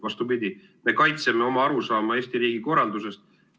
Vastupidi, me kaitseme oma arusaama Eesti riigi korraldusest.